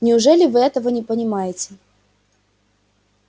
неужели вы этого не понимаете